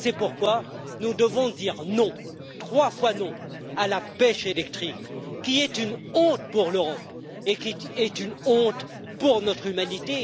C'est pourquoi nous devons dire non, trois fois non, à la pêche électrique qui est une honte pour l'Europe et pour notre humanité